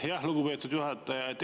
Aitäh, lugupeetud juhataja!